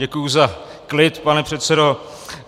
Děkuji za klid, pane předsedo.